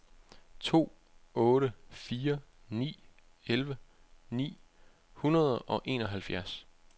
to otte fire ni elleve ni hundrede og enoghalvfjerds